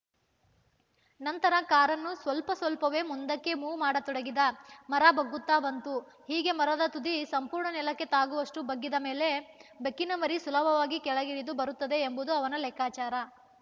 ನಂತರ ಕಾರನ್ನು ಸ್ವಲ್ಪಸ್ವಲ್ಪವೇ ಮುಂದಕ್ಕೆ ಮೂವ್‌ ಮಾಡತೊಡಗಿದ ಮರ ಬಗ್ಗುತ್ತಾ ಬಂತು ಹೀಗೆ ಮರದ ತುದಿ ಸಂಪೂರ್ಣ ನೆಲಕ್ಕೆ ತಾಗುವಷ್ಟುಬಗ್ಗಿದ ಮೇಲೆ ಬೆಕ್ಕಿನಮರಿ ಸುಲಭವಾಗಿ ಕೆಳಗಿಳಿದು ಬರುತ್ತದೆ ಎಂಬುದು ಅವನ ಲೆಕ್ಕಾಚಾರ